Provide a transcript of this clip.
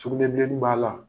Sugunɛbileni b'a la.